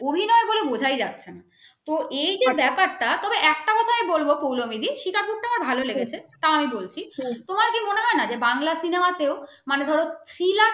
অভিনয় বলে বোঝায় যাচ্ছে না তো এই যে ব্যাপাটা তবে একটা কথা আমি বলবো পৌলোমী দি শিকারপুর তা আমার ভালো লেগেছে তাও বলছি তোমার কি মনে হয় না যে বাংলা cinema তেও মানে ধরো